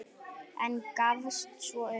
En gafst svo upp.